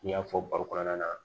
N'i y'a fɔ baro kɔnɔna na